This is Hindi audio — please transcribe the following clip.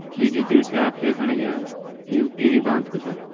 यह जू दृश्य आप देखण लग्यां यू टिहरी बाँध कू छ।